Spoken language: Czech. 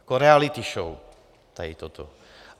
Jako reality show tady toto.